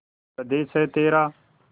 स्वदेस है तेरा